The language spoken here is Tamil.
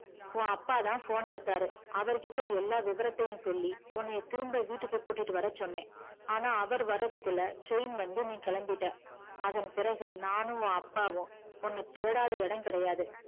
உன் அப்பாத phone எடுத்தாரு அவருகிட்ட எல்லா விவரத்தையும் சொல்லி உன்ன திரும்ப வீட்டுக்கு கூட்டிட்டுவர சொன்ன ஆனா அவர் வரதுக்குள்ள train வந்து நீ கிளம்பிட்ட அதன்பிறகு நானு உன் அப்பாவும் உன்ன தேடாத இடம் கிடையாது